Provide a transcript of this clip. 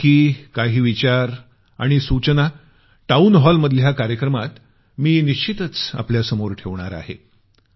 यापैकी काही विचार आणि सूचना टाऊन हॉलमधल्या कार्यक्रमात मी निश्चितच आपल्या समोर ठेवणार आहे